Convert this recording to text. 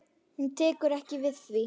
Hún tekur ekki við því.